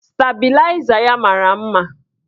Stabịlaịza ya mara mma.